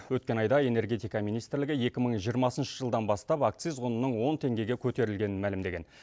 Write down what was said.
өткен айда энергетика министрлігі екі мың жиырмасыншы жылдан бастап акциз құнының он теңгеге көтерілгенін мәлімдеген